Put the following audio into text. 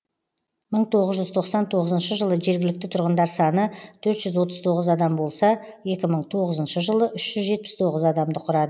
мың тоғыз жүз тоқсан тоғызыншы жылы жергілікті тұрғындар саны төрт жүз отыз тоғыз адам болса екі мың тоғызыншы жылы үш жүз жетпіс тоғыз адамды құрады